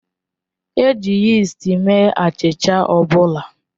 E ji yist mee achịcha ọ bụla